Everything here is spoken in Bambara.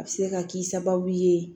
A bɛ se ka k'i sababu ye